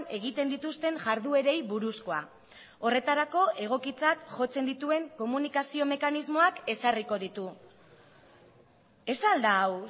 egiten dituzten jarduerei buruzkoa horretarako egokitzat jotzen dituen komunikazio mekanismoak ezarriko ditu ez al da hau